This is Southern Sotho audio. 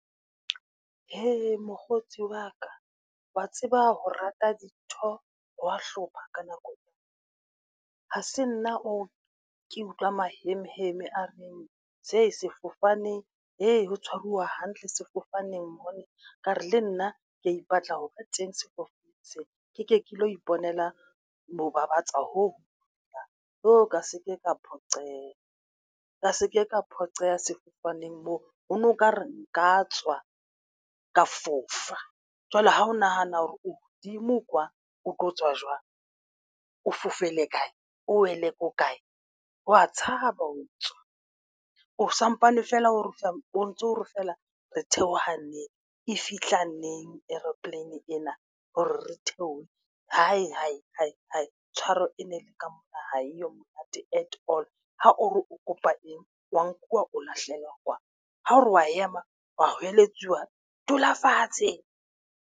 Mokgotsi wa ka wa tseba ho rata dintho, ha wa hlopha ka nako. Ha se nna oo ke utlwa maheme heme a reng se sefofane ee ho tshwaruwa hantle sefofaneng mona ka re le nna kea ipatla ho ba teng sefofaneng sena ke ke ke lo iponela mo babatsa hoo. Ka se ke ka phoqeha ka seke ka phoqeha sefofaneng moo ho no nka re nka tswa ka fofa. Jwale ha o nahana hore o hodimo kwa, o tlo tswa jwang, o fofela kae, o wele ko kae wa tshaba ho tswa o sampane feela o ntso feela Re theoha neng e fihla neng aeroplane ena hore re theohe. Tshwaro e ne le ka mora ha eyo monate at all. Ha o re o kopa eng wa nkuwa o lahlela kwana, ha o re wa ema wa hweletse, wa dula fatshe.